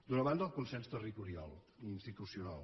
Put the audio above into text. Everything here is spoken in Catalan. d’una banda el consens territorial i institucional